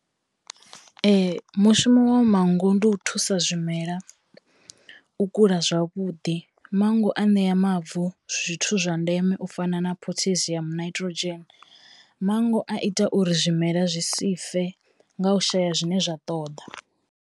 Ee mushumo wa manngo ndi u thusa zwimela u kula zwavhuḓi, mango aṋea mavu zwithu zwa ndeme u fana na Potassium Nitrogen, mango a ita uri zwimela zwi si fe nga u shaya zwine zwa ṱoḓa.